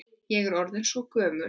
Ég er orðin svo gömul.